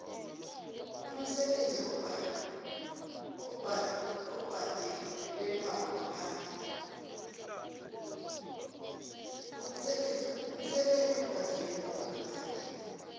umsebenzi obhadalelwako ngaphandle